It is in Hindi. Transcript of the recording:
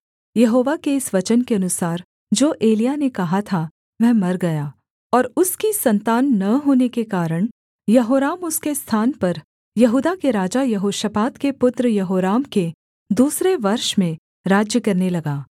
यहोवा के इस वचन के अनुसार जो एलिय्याह ने कहा था वह मर गया और उसकी सन्तान न होने के कारण यहोराम उसके स्थान पर यहूदा के राजा यहोशापात के पुत्र यहोराम के दूसरे वर्ष में राज्य करने लगा